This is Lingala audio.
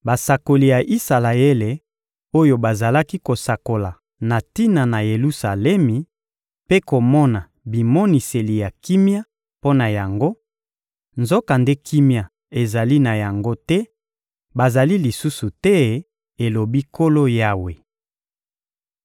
basakoli ya Isalaele oyo bazalaki kosakola na tina na Yelusalemi mpe komona bimoniseli ya kimia mpo na yango, nzokande kimia ezali na yango te, bazali lisusu te, elobi Nkolo Yawe.’›